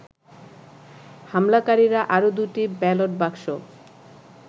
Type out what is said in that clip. হামলাকারীরা আরো দুটি ব্যালট বাক্স